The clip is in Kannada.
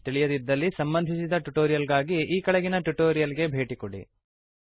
ತಿಳಿಯದಿದ್ದಲ್ಲಿ ಸಂಬಂಧಿಸಿದ ಟ್ಯುಟೋರಿಯಲ್ ಗಾಗಿ ಈ ಕೆಳಗಿನ ಟ್ಯುಟೋರಿಯಲ್ ಗೆ ಭೇಟಿ ಕೊಡಿ